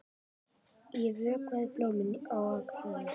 Ég vökvaði blómin á Akranesi.